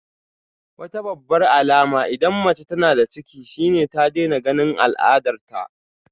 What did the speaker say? Wata babbar alama idan mace tana da ciki shine ta daina ganin al'adarta